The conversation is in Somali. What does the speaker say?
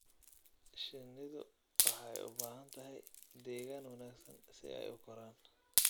Shinnidu waxay u baahan tahay deegaan wanaagsan si ay u koraan.